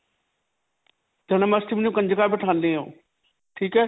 ਜਨ੍ਮਾਸ਼੍ਟਮੀ ਨੂੰ ਕੰਜਕਾਂ ਬਿਠਾਉਂਦੇ ਹੋ. ਠੀਕ ਹੈ